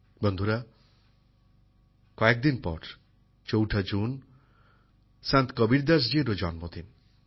বন্ধুরা কয়েকদিন পর চৌঠা জুন সন্ত কবীরদাসজিরও জন্মদিন